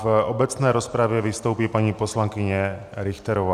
V obecné rozpravě vystoupí paní poslankyně Richterová.